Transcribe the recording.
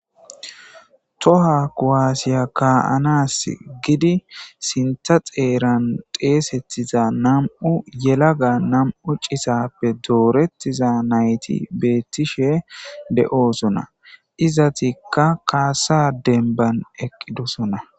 Towa kuwase kaa'anasika giidi sintha xeeran xeysetiza nam'u yelaga nam'u citappe dooretiza nayti beetishe de'osona. Izetika haasa'ishe kaasa demban eqqidoosona.